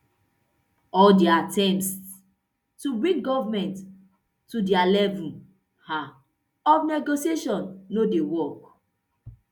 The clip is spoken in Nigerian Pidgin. all dia attempts to bring goment to dia level um of negotiation no dey work